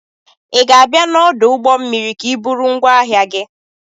ị ga-abịa n'ọdụ ụgbọ mmiri ka iburu ngwaahia gi?